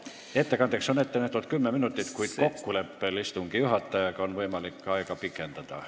Ettekandeks on ette nähtud kümme minutit, kuid kokkuleppel istungi juhatajaga on võimalik aega pikendada.